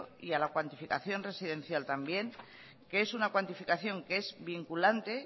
y a la cuantificación residencial también que es una cuantificación que es vinculante